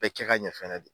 Bɛɛ kɛ ka ɲɛ fɛnɛ de